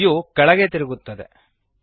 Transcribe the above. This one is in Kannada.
ವ್ಯೂ ಕೆಳಗೆ ತಿರುಗುತ್ತದೆ